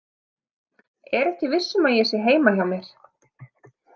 Er ekki viss um að ég sé heima hjá mér.